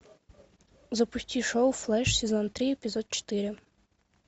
запусти шоу флеш сезон три эпизод четыре